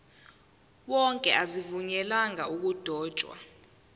wonke azivunyelwanga ukudotshwa